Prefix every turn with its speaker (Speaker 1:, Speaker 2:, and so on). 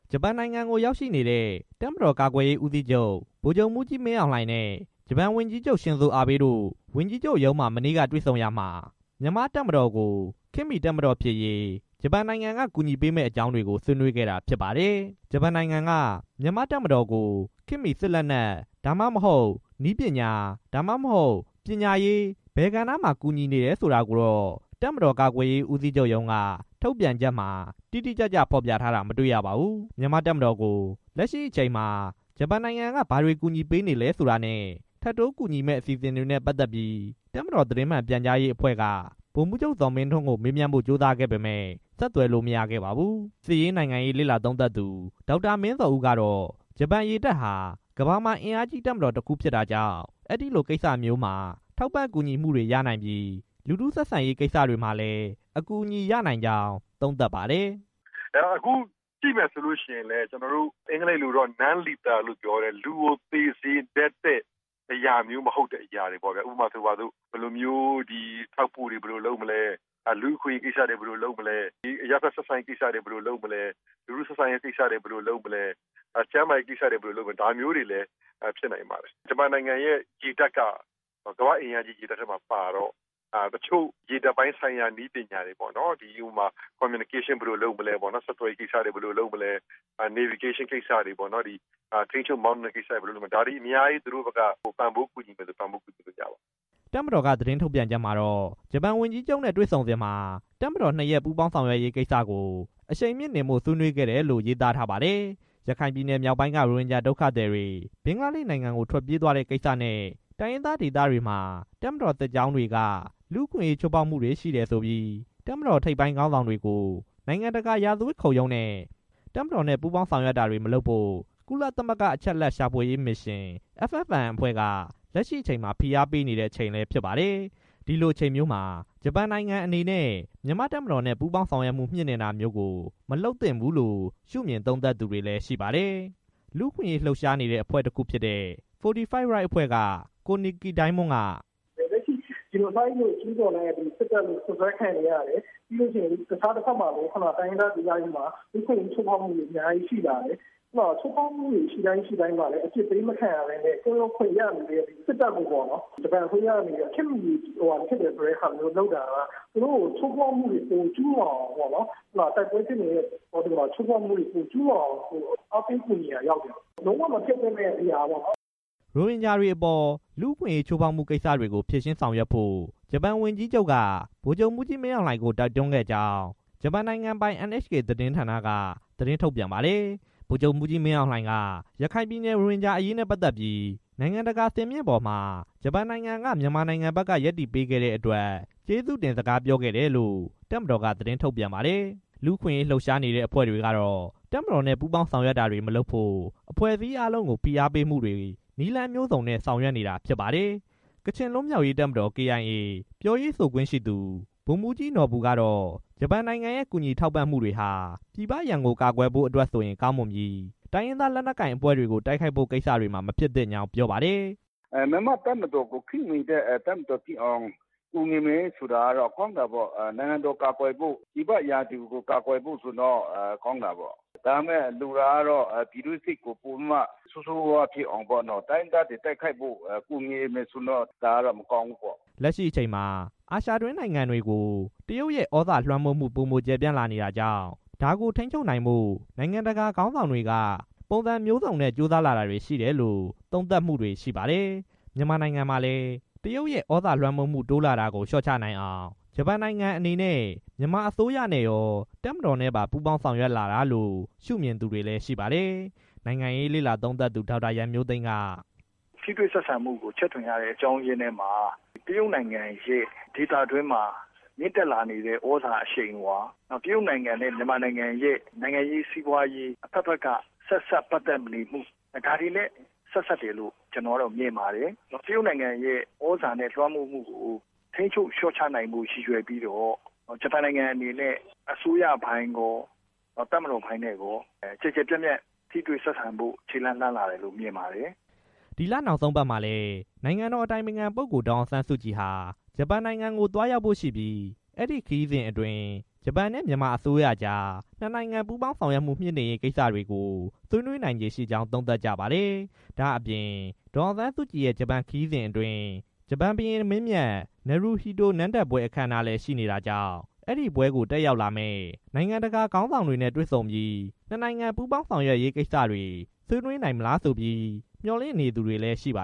Speaker 1: ဂျပန်နိုင်ငံကို ရောက်ရှိနေတဲ့ တပ်မတော် ကာကွယ်ရေးဦးစီးချုပ် ဗိုလ်ချုပ်မှူးကြီး မင်းအောင်လှိုင်နဲ့ ဂျပန်ဝန်ကြီးချုပ် ရှင်ဇိုအာဘေးတို့ ဝန်ကြီးချုပ်ရုံးမှာ မနေ့က တွေ့ဆုံရာမှာ မြန်မာ့တပ်မတော်ကို ခေတ်မီတပ်မတော်ဖြစ်ရေး ဂျပန်နိုင်ငံ က ကူညီပေးမယ့် အကြောင်းကို ဆွေးနွေးခဲ့တာဖြစ်ပါတယ်။ ဂျပန်နိုင်ငံက မြန်မာ့တပ်မတော်ကို ခေတ်မီစစ်လက်နက် ဒါမှမဟုတ် နည်းပညာ၊ ဒါမှမဟုတ် ပညာရေး၊ ဘယ်ကဏ္ဍ မှာ ကူညီနေတယ်ဆိုတာကိုတော့ တပ်မတော်ကာကွယ်ရေး ဦးစီးချုပ်ရုံးက ထုတ်ပြန်ချက်မှာ တိတိကျကျဖော်ပြ ထားတာ မတွေ့ရပါဘူး။ မြန်မာ့တပ်မတော်ကို လက်ရှိအချိန်မှာ ဂျပန်နိုင်ငံက ဘာတွေကူညီပေးနေလဲဆိုတာနဲ့ ထပ်တိုးကူညီမယ့်အစီ အစဉ်တွေနဲ့ ပတ်သက်ပြီး တပ်မတော် သတင်းမှန် ပြန်ကြားရေးအဖွဲ့က ဗိုလ်မှူးချုပ် ဇော်မင်းထွန်းကို မေးမြန်းဖို့ ကြိုးစားခဲ့ပေမယ့် အဆက်အသွယ်မရရှိခဲ့ပါဘူး။ စစ်ရေးနိုင်ငံရေးလေ့လာသုံးသပ်သူ ငြိမ်းချမ်းရေးနဲ့ လုံခြုံရေးဆိုင်ရာ မြန်မာအင်စတီကျူ MIPS အမှုဆောင် ဒါရိုက်တာ ဒေါက်တာမင်းဇော်ဦး ကတော့ ဂျပန်ရေတပ်ဟာ ကမ္ဘာမှာအင်အားကြီး တပ်မတော်တစ်ခုဖြစ်တာကြောင့် အဲဒီကိစ္စမျိုးတွေမှာ ထောက်ပံ့ကူညီမှုတွေရရှိနိုင်ပြီး လူထုဆက်ဆံရေးကိစ္စတွေမှာလည်း အကူအညီရနိုင်ကြောင်း သုံးသပ်ပါတယ်။
Speaker 2: "ထောက်ပို့တွေဘယ်လိုလုပ်လဲ၊ လူ့အခွင့်အရေးကိစ္စတွေ ဘယ်လိုလုပ်မလဲ၊ အရပ်ဘက်ဆက်ဆံရေးကိစ္စတွေ ဘယ်လိုလုပ်မလဲ၊ ကျန်းမာရေးကိစ္စတွေ ဘယ်လိုလုပ်မလဲ၊ လူကိုသေစေတတ်တဲ့အရာမျိုးမဟုတ်တဲ့ ဟာတွေပေါ့ဗျာ၊ ဒါမျိုးတွေကို ကူညီမှာလည်း ဖြစ်နိုင်ပါတယ်၊ ဂျပန်နိုင်ငံရဲ့ရေတပ်က ကမ္ဘာ့အင်အားကြီး ရေတပ်ထဲမှာပါတော့ တချို့ရေတပ်ပိုင်းဆိုင်ရာနည်းပညာတွေပေါ့နော် ဆက်သွယ်ရေးကိစ္စတွေ ဘယ်လို လုပ်မလဲ ထိန်းချုပ်မောင်းနှင်တာတွေ ဘယ်လိုလုပ်မလဲ ဆိုတာတွေကို သူတို့ဘက်က ပံ့ပိုးကူညီမယ်ဆို ပံ့ပိုးပေးလို့ရပါတယ်
Speaker 1: " တပ်မတော်က သတင်းထုတ်ပြန်ချက်မှာတော့ ဂျပန်ဝန်ကြီးချုပ်နဲ့ တွေ့ဆုံစဉ်မှာ တပ်မတော်နှစ်ရပ် ပူးပေါင်းဆောင်ရွက်ရေးကို အရှိန်မြှင့်တင်ဖို့ ဆွေးနွေးခဲ့တယ်လို့လည်း ရေးသားထားပါတယ်။ ရခိုင်ပြည်နယ် မြောက်ပိုင်းက ရိုဟင်ဂျာဒုက္ခသည်တွေ ဘင်္ဂလားဒေ့ရှ်နိုင်ငံကို ထွက်ပြေးသွားတဲ့ကိစ္စနဲ့ တိုင်းရင်းသားဒေသတွေမှာ တပ်မတော်စစ်ကြောင်းတွေက လူ့အခွင့်အရေးချိုးဖောက်မှုတွေ ရှိတယ်ဆိုပြီး တပ်မတော်ထိပ်ပိုင်းခေါင်းဆောင်တွေကို နိုင်ငံတကာ ရာဇဝတ်ခုံရုံးတင်ဖို့နဲ့ တပ်မတော်နဲ့ ပူးပေါင်းဆောင်ရွက် တာတွေ မလုပ်ဖို့ ကုလသမဂ္ဂအချက်အလက် ရှာဖွေးရေးမစ်ရှင် FFM က လက်ရှိအချိန်မှာ ဖိအားပေးမှုတွေ ရှိနေပါတယ်။ ဒီလိုအချိန်မျိုးမှာ ဂျပန်နိုင်ငံအနေနဲ့ မြန်မာတပ်မတော်နဲ့ ပူးပေါင်းဆောင်ရွက်မှု မြှင့်တင်တာမျိုးတွေ မလုပ်သင့်ဘူးလို့ ရှုမြင်သုံးသပ်သူတွေလည်းရှိပါတယ်။ လူ့အခွင့်ရေးလှုပ်ရှားနေတဲ့အဖွဲ့တစ်ခုဖြစ်တဲ့ Fortity Rights အဖွဲ့က ကိုနစ်ကီဒိုင်းမွန်းက "
Speaker 2: လူမျိုးတုံးသတ်ဖြတ်မှုရှိကြောင်း တပ်မတော်က စွပ်စွဲခံနေရတယ်၊ တခြားတဘက်မှာလည်း တိုင်းရင်းသားဒေ သတွေမှာ လူ့အခွင့်အရေးချိုးဖောက်မှုတွေ အများကြီးရှိလာတယ်၊ ချိုးဖောက်မှုတွေရှိတိုင်းမှာလည်း အပြစ်ပေး မခံရဘဲနဲ့ ကင်းလွတ်ခွင့်တွေ ရနေတဲ့ စစ်တပ်ကို ဂျပန်အစိုးရအနေနဲ့ ခေတ်မီနည်းပညာတွေ ပံ့ပိုးပေးတာက ချိုးဖောက်မှုတွေ ပိုကျူးလွန်အောင် အားပေးကူညီရာရောက်တယ်၊ ဒါကလုံးဝမဖြစ်သင့်တဲ့အရာပေါ့နော်။
Speaker 1: " ရိုဟင်ဂျာတွေအပေါ် လူ့အခွင့်အရေးချိုး ဖောက်မှုကိစ္စတွေကို ဖြေရှင်းဆောင်ရွက်ဖို့ ဂျပန်ဝန်ကြီးချုပ်က ဗိုလ်ချုပ်မှူးကြီး မင်းအောင်လှိုင်ကို တိုက်တွန်းခဲ့ကြောင်း ဂျပန်နိုင်ငံပိုင် NHK သတင်းဌာနက သတင်းထုတ်ပြန်ထားပါတယ်။ ဗိုလ်ချုပ်မှူးကြီးမင်းအောင်လှိုင်က ရခိုင်ပြည်နယ် ရိုဟင်ဂျာအရေးနဲ့ပတ်သက်ပြီး နိုင်ငံတကာစင်မြင့်ပေါ်မှာ ဂျပန်နိုင်ငံက မြန်မာဘက်ကနေ ရပ်တည်ပေးခဲ့တဲ့အတွက် ကျေးဇူးတင်စကားပြောခဲ့တယ်လို့ တပ်မတော်က ထုတ်ပြန်ထားပါတယ်။ လူ့အခွင့်အရေးလှုပ်ရှားနေတဲ့အဖွဲ့တွေကတော့ တပ်မတော်နဲ့ ပူးပေါင်းဆောင်ရွက်တာတွေ မလုပ်ဖို့ အဖွဲ့အစည်းအားလုံးကို ဖိအားပေးမှုတွေ နည်းလမ်းမျိုးစုံနဲ့ ဆောင်ရွက်နေတာဖြစ်ပါတယ်။ ကချင်လွတ်မြောက်ရေးတပ်မတော် KIA ပြောရေးဆိုခွင့်ရှိသူ ဗိုလ်မှူးကြီးနော်ဘူကတော့ ဂျပန်နိုင်ငံရဲ့ ကူညီထောက် ပံ့မှုတွေဟာ ပြည်ပရန်ကိုကာကွယ်ဖို့အတွက်ဆိုရင် ကောင်းမွန်ပြီး တိုင်းရင်းသား လက်နက်ကိုင်အဖွဲ့တွေကို တိုက်ခိုက်ဖို့ကိစ္စတွေမှာ မဖြစ်သင့်ကြောင်းပြောပါတယ်။ "မြ
Speaker 2: န်မာတပ်မတော်ကို ခေတ်မီတဲ့တပ်မတော်ဖြစ်အောင် ကူညီမယ်ဆိုတာကတော့ ကောင်းတာပေါ့၊ နိုင်ငံတော်ကို ကာကွယ်ဖို့ ပြည်ပရန်ကို ကာကွယ်ဖို့ဆိုရင်တော့ ကောင်းတာပေါ့၊ ဒါပေမဲ့ ပြည်တွင်းစစ်ကို ပိုပြီးမှ ဆိုးဆိုးဝါး ဝါးဖြစ်အောင် တိုင်းရင်းသားတွေကို တိုက်ခိုက်ဖို့ ကူညီမယ်ဆိုရင်တော့ မကောင်းဘူးပေါ့
Speaker 1: " လက်ရှိအချိန်မှာ အာရှတွင်းနိုင်ငံတွေကို တရုတ်ရဲ့ သြဇာလွှမ်းမိုးမှုတွေ ပိုမိုကျယ်ပြန့်လာနေတာကြောင့် ဒါကိုထိန်းချုပ်နိုင်ဖို့ နိုင်ငံတကာခေါင်းဆောင်တွေက ပုံစံမျိုးစုံနဲ့ ကြိုးစားလာတာတွေရှိတယ်လို့ သုံးသပ်မှုတွေရှိပါတယ်။ မြန်မာနိုင်ငံမှာလည်း တရုတ်ရဲ့သြဇာလွှမ်းမိုးမှု တိုးလာတာကို လျှော့ချနိုင်အောင် ဂျပန်နိုင်ငံအနေနဲ့ မြန်မာအစိုးရနဲ့ရော တပ်မတော်နဲ့ပါ ပူးပေါင်းဆောင်ရွက်လာတာလို့ ရှုမြင်သူတွေလည်းရှိပါတယ်။ နိုင်ငံရေးလေ့လာသုံးသပ်သူ ဒေါက်တာရန်မျိုးသိမ်းက "
Speaker 2: ထိတွေ့ဆက်ဆံမှုကို ချဲ့ထွင်ရတဲ့ အကြောင်းအရင်းထဲမှာ တရုတ်နိုင်ငံရဲ့ ဒေသတွင်းမှာ မြင့်တက်လာနေတဲ့ သြဇာအရှိအဝါ၊ တရုတ်နိုင်ငံနဲ့ မြန်မာနိုင်ငံရဲ့ နိုင်ငံရေး၊ စီးပွားရေး ပတ်သက်နေမှု ဒါတွေနဲ့ ဆိုင်တယ်လို့ ကျွန်တော်က မြင်ပါတယ်၊ တရုတ်နိုင်ငံရဲ့ သြဇာလွှမ်းမိုးမှုကို ထိန်းချုပ် လျော့ချနိုင်ဖို့ ရည်ရွယ်ပြီးတော့ ဂျပန်နိုင်ငံအနေနဲ့ အစိုးရနဲ့ရော တပ်မတော်နဲ့ပါ ကျယ်ကျယ်ပြန့်ပြန့် ထိတွေ့ဆက်ဆံဖို့ ခြေလှမ်းလာတယ်လို့ မြင်ပါတယ်။
Speaker 1: " ဒီလနောက်ဆုံးပတ်မှာလည်း နိုင်ငံတော် အတိုင်ပင်ခံပုဂ္ဂိုလ် ဒေါ်အောင်ဆန်းစုကြည်ဟာ ဂျပန်နိုင်ငံကိုသွားရောက် ဖို့ရှိပြီး အဲဒီခရီးစဉ်အတွင်း ဂျပန်နဲ့ မြန်မာအစိုးရကြား နှစ်နိုင်ငံပူးပေါင်းဆောင်ရွက်မှု တိုးမြှင့်ရေးကိစ္စတွေကို ဆွေးနွေးနိုင်ခြေရှိနေကြောင်း သုံးသပ်ကြပါတယ်။ ဒါ့အပြင် ဒေါ်အောင်ဆန်းစုကြည်ရဲ့ ဂျပန်ခရီးစဉ်အတွင်း ဂျပန်ဘုရင်မင်းမြတ် နရူဟိတို နန်းတက်ပွဲ အခမ်းအနား လည်းရှိနေတာကြောင့် အဲဒီပွဲကို တက်ရောက်လာမယ့် နိုင်ငံတကာခေါင်းဆောင်တွေနဲ့ တွေ့ဆုံဆွေးနွေးပြီး နှစ်နိုင်ငံပူးပေါင်းဆောင်ရွက်ရေးကိစ္စတွေ ဆွေးနွေးနိုင်မလားဆိုပြီး မျှော်လင့်နေသူတွေလည်းရှိပါ